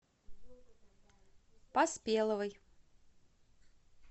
поспеловой